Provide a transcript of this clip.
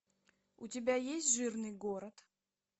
у тебя есть жирный город